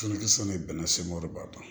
Finikisɛ ni bɛnnɛ sɛnɛno b'a la